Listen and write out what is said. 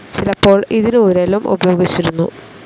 ചിലപ്പോൾ ഇതിനു ഉരലും ഉപയോഗിച്ചിരുന്നു.